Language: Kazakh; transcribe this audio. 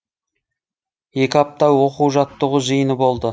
екі апта оқу жаттығу жиыны болды